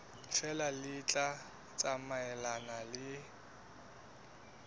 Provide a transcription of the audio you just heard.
feela le tla tsamaelana le